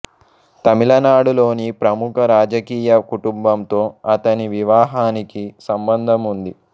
తమిళనాడులోని ప్రముఖ రాజకీయ కుటుంబంతో అతని వివాహానికి సంబంధం ఉంది